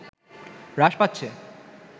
হ্রাস পাচ্ছে